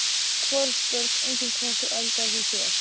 Hvorugt Börn: Engin Hvað eldaðir þú síðast?